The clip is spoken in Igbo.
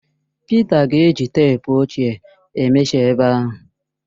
Pịta ga-eji teepu ochie emeshọ ebe ahụ.